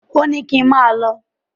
Ò ní kín máà lọ.